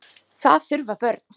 Það þurfa börn.